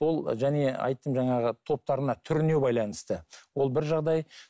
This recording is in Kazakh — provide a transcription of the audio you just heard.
ол және айттым жаңағы топтарына түріне байланысты ол бір жағдай